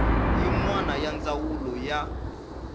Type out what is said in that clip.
yin wana ya ndzawulo ya